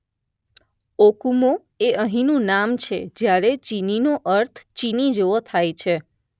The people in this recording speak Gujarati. ઓકુમો એ અહીંનું નામ છે જ્યારે ચીનીનો અર્થ ચીની જેવો થાય છે